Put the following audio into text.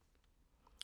DR2